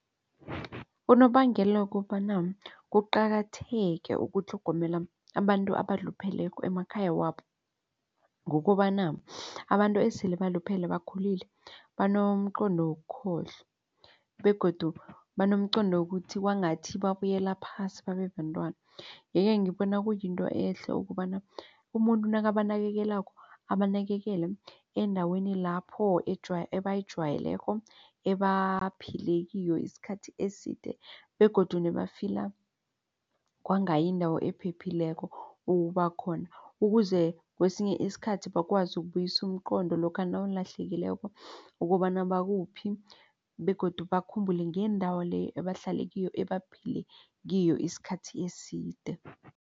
Unobangela wokobana kuqakatheke ukutlhogomela abantu abalupheleko emakhaya wabo ngokobana abantu esele baluphele bakhulile banomqondo wokukhohlwa begodu banomqondo wokuthi kwangathi babuyela phasi babebantwana. Yeke ngibona kuyinto ehle ukobana umuntu nakabanakekela abanakekela endaweni lapho abayijwayeleko ebaphila kiyo isikhathi eside begodu nebafila kwanga indawo ephephileko ukubakhona. Ukuze kwesinye isikhathi bakwazi ukubuyisa umqondo lokha nawulahlekileko ukobana bakuphi begodu bakhumbule ngendawo leyo ebahlala kiyo ebaphile kiyo isikhathi eside.